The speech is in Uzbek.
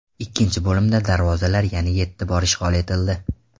Ikkinchi bo‘limda darvozalar yana yetti bor ishg‘ol etildi.